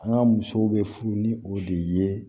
An ka musow bɛ furu ni o de ye